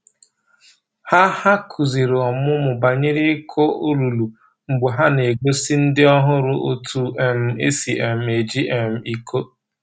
Ha Ha kuziri ọmụmụ banyere ịkụ olulu mgbe ha na-egosi ndị ọhụrụ otu um e si um eji um iko.